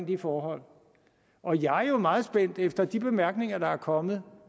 de forhold jeg er jo meget spændt på efter de bemærkninger der er kommet